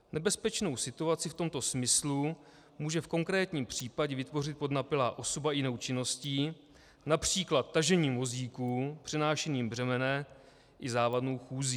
Nebezpečnou situaci v tomto smyslu může v konkrétním případě vytvořit podnapilá osoba jinou činností, například tažením vozíku, přenášením břemene i závadnou chůzí.